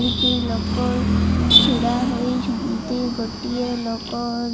କିଛି ଲୋକ ଛିଡ଼ା ହୋଇଛନ୍ତି। ଗୋଟିଏ ଲୋକ --